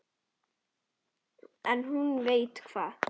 En hún veit hvað